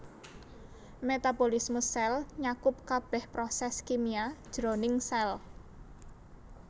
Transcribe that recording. Metabolisme sèl nyakup kabèh prosès kimia jroning sèl